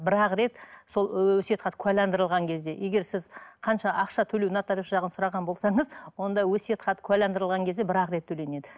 бір ақ рет сол өсиет хат куәлендірілген кезде егер сіз қанша ақша төлеу нотариус жағын сұраған болсаңыз онда өсиет хат куәландірілген кезде бір ақ рет төленеді